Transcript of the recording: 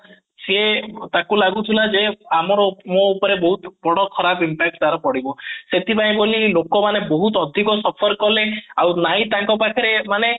ସେ ତାକୁ ଲାଗୁଥିଲା ଯେ ଆମର ମୋ ଉପରେ ବହୁତ ବଡ ଖରାପ impact ତାର ପଡିବ ସେଥିପାଇଁ ବୋଲି ଲୋକ ମାନେ ବହୁତ ଅଧିକ suffer କଲେ ଆଉ ନାହିଁ ତାଙ୍କ ପାଖରେ ମାନେ